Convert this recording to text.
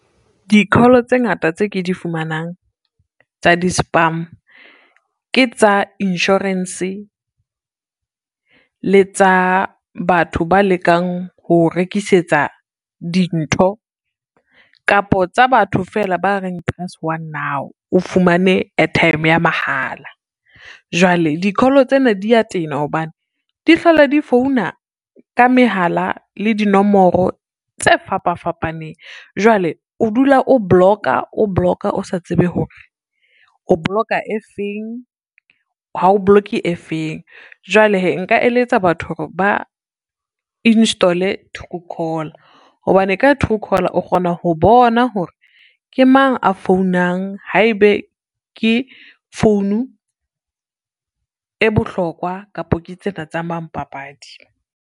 Di-call tse ngata tse ke di fumanang tsa di-spam ke tsa insurance, le tsa batho ba lekang ho rekisetsa dintho kapo tsa batho fela ba reng press one now o fumane airtime ya mahala. Jwale di-call tsena dia tena hobane di hlola di founa ka mehala le dinomoro tse fapa fapaneng. Jwale o dula o block-a, o block-a o sa tsebe hore o block-a e feng, ha o block-e e feng, jwale hee nka eletsa batho hore ba install-e Truecaller, hobane ka Truecaller o kgona ho bona hore ke mang a founang haebe ke founu e bohlokwa kapa ke tsena tsa mampapadi.